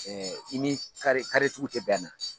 i ni tigiw tɛ bɛn a na.